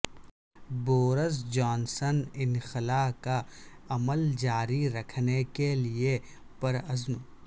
Boris Johnson انخلا کا عمل جاری رکھنے کے لیے پرعزم